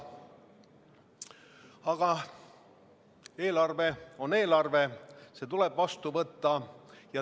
Aga eelarve on eelarve, see tuleb vastu võtta.